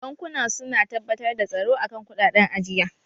Bankuna su na tabbatar da tsaro a kan kuɗaɗen ajiya.